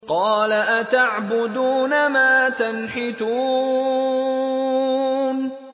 قَالَ أَتَعْبُدُونَ مَا تَنْحِتُونَ